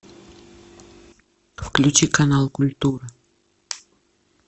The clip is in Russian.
включи канал культура